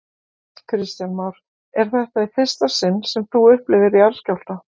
Kristján Már: Er þetta í fyrsta sinn sem þú upplifir jarðskjálfta?